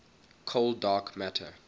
cold dark matter